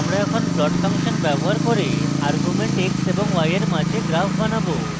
আমরা এখন plot function ব্যবহার করে arguments x এবং y we সাথে graph বানাবো